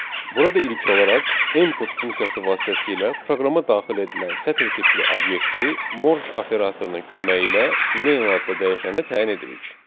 Burada ilk olaraq input funksiyası vasitəsilə proqrama daxil edilən sətir tipli obyekti Morj operatorunun köməyi ilə name adlı dəyişənə təyin edirik.